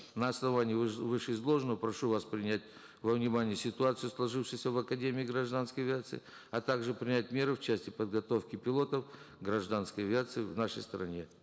на основании вышеизложенного прошу вас принять во внимание ситуацию сложившуюся в академии гражданской авиации а также принять меры в части подготовки пилотов гражданской авиации в нашей стране